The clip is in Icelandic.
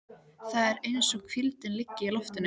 Það er eins og hvíldin liggi í loftinu.